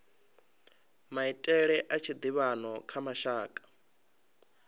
maitele a tshiḓivhano kha mashaka